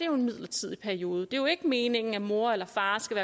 jo en midlertidig periode det er jo ikke meningen at moren eller faren skal